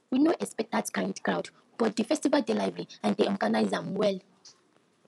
we no expect that kind crowd but di festival dey lively and dem organize am well